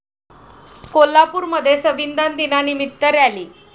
कोल्हापूरमध्ये संविधान दिनानिमित्त रॅली